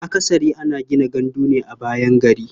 Akasari ana gina gandu ne a bayan gari.